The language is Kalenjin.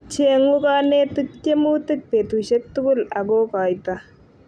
chengu konetic tiemutik betusiek tukul akukoito